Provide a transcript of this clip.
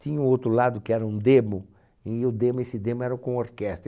Tinha o outro lado que era um demo, e o demo esse demo era com orquestra.